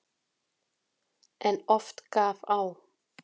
En oft gaf á.